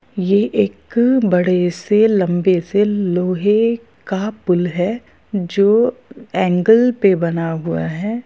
ये एक बड़े से लंबे से लोहे का पुल है जो एंगल पे बना हुआ है।